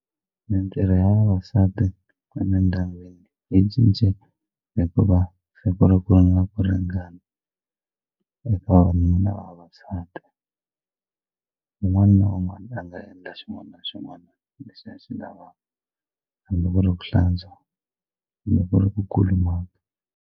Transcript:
Mitirho ya vavasati emindyangwini yi cincile hikuva siku ku na ku ringana ringana eka vavanuna na vavasati un'wana na un'wana a nga endla xin'wana na xin'wana lexi a xi lavaka hambi ku ri hlantswa hambi ku ri ku kulumaka.